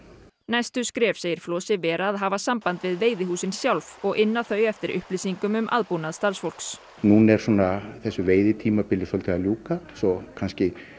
næstu skref segir Flosi vera að hafa samband við veiðihúsin sjálf og inna þau eftir upplýsingum um aðbúnað starfsfólks núna er svona þessu veiðitímabili að ljúka svo kannski